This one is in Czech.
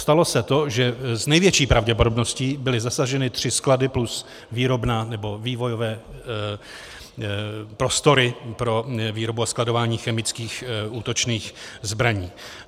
Stalo se to, že s největší pravděpodobností byly zasaženy tři sklady plus výrobna nebo vývojové prostory pro výrobu a skladování chemických útočných zbraní.